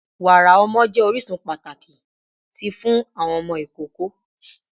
Wara ọmọ jẹ orisun pataki ti fun awọn ọmọ ikoko